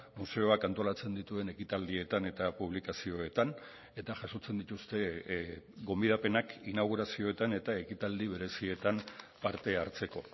museoak antolatzen dituen ekitaldietan eta publikazioetan eta jasotzen dituzte gonbidapenak inaugurazioetan eta ekitaldi berezietan parte hartzeko